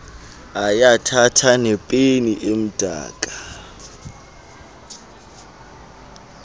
ayathatha nepeni emdaka